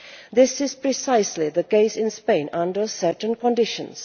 This is precisely the case in Spain under certain conditions.